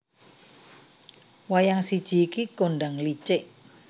Wayang siji iki kondhang licik